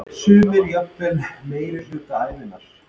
Sumir jafnvel meirihluta ævinnar.